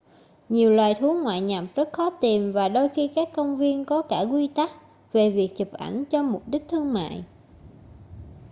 nhiều loài thú ngoại nhập rất khó tìm và đôi khi các công viên có cả quy tắc về việc chụp ảnh cho mục đích thương mại